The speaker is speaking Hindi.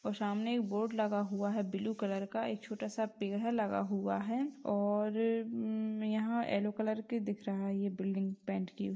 और सामने एक बोर्ड लगा हुआ है ब्लू कलर का एक छोटा सा पेड़ लगा हुआ है और उम्म यहाँ यलो कलर की दिख रहा है ये बिल्डिंग पेंट की हुई।